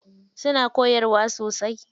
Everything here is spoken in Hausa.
Suna koyarwa sosai.